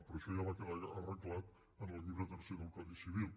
però això ja va quedar arreglat en el llibre tercer del codi civil